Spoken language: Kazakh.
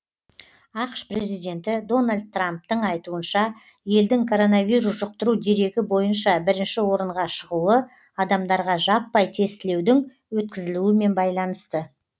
ақш президенті дональд трамптың айтуынша елдің коронавирус жұқтыру дерегі бойынша бірінші орынға шығуы адамдарға жаппай тестілеудің өткізілуімен байланысты